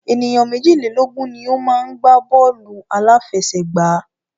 Ènìyàn méjìlélógun ni o má ń gbá bọ́ọ̀lù àláfẹsẹ̀gbá.